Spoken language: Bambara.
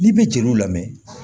N'i bɛ jeliw lamɛn